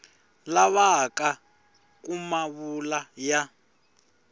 lavaka ku ma vula ya